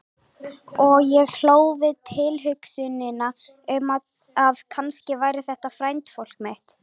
Og ég hló við tilhugsunina um að kannski væri þetta frændfólk mitt.